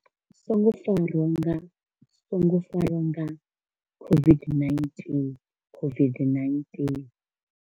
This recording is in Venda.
Songo farwa nga songo farwa nga COVID-19 COVID-19.